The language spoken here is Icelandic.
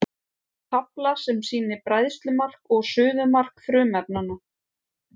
tafla sem sýnir bræðslumark og suðumark frumefnanna